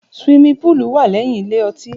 Ṣiwími púlú wa lẹ́yìn ìlé ọtí